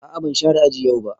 A'a ban share aji yau ba.